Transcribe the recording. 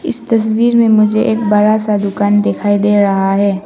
तस्वीर में मुझे एक बड़ा सा दुकान दिखाई दे रहा है।